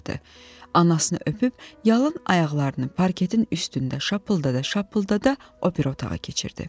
Anasını öpüb, yalın ayaqlarını parketin üstündə şapıldada-şapıldada o biri otağa keçirdi.